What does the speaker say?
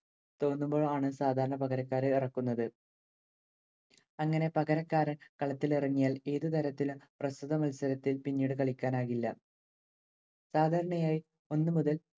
തോന്നുമ്പോഴാണ്‌ സാധാരണ പകരക്കാരെ ഇറക്കുന്നത്‌. അങ്ങനെ പകരക്കാരൻ കളത്തിലിറങ്ങിയാൽ ഏതു തരത്തിലും പ്രസ്തുത മത്സരത്തിൽ പിന്നീടു കളിക്കാനാകില്ല. സാധാരണയായി ഒന്നു മുതല്‍